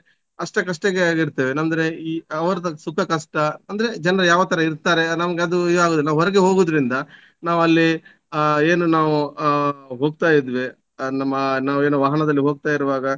ಅಷ್ಟಕ್ಕೆ ಅಷ್ಟೇಕ್ಕೆ ಆಗಿರ್ತೇವೆ ಅಂದ್ರೆ ಅವರದು ಸುಖ ಕಷ್ಟ ಅಂದ್ರೆ ಜನ್ರು ಯಾವ ತರ ಇರ್ತಾರೆ ನಮ್ಗೆ ಅದು ಇದಾಗುದಿಲ್ಲ. ನಾವು ಹೊರಗೆ ಹೋಗುವುದರಿಂದ ನಾವು ಅಲ್ಲಿ ಏನು ನಾವು ಆ ಹೋಗ್ತಾ ಇದ್ವಿ ಆ ನಮ್ಮ ನಾವ್ ಏನ್ ವಾಹನದಲ್ಲಿ ಹೋಗ್ತಾ ಇರುವಾಗ